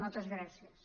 moltes gràcies